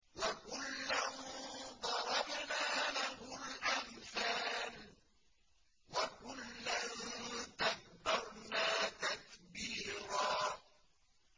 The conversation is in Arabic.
وَكُلًّا ضَرَبْنَا لَهُ الْأَمْثَالَ ۖ وَكُلًّا تَبَّرْنَا تَتْبِيرًا